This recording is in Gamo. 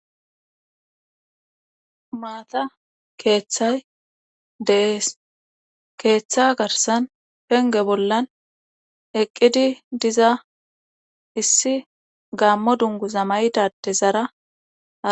Maata keeththay de'ees. Keeththa garssan penge bollan eqqidi diza issi gaamo dunguza mayda adezara